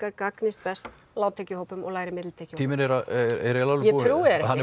gagnist best lágtekju og lægri millitekjuhópum tíminn er að alveg